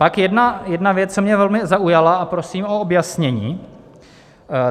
Pak jedna věc, co mě velmi zaujala, a prosím o objasnění.